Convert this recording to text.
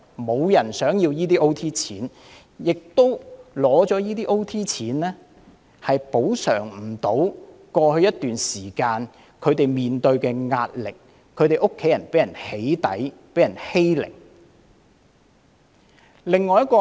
沒有人想得到這些加班津貼，而這些津貼亦無法補償過去一段時間他們面對的壓力，以及其家人被"起底"和欺凌的苦況。